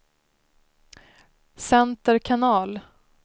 center kanal